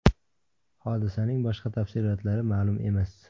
Hodisasning boshqa tafsilotlari ma’lum emas.